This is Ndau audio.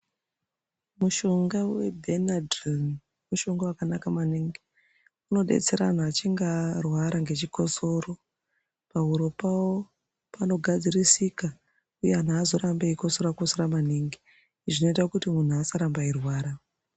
mushonga vebhenadhirini mushonga vakanaka maningi. Unobetsera antu achinge arwara ngechikosoro pahuro pavo panozogadzirisika, uye antu hazorambi eikosora-kosora maningi izvi zvinoita kuti muntu asarambe eirwara.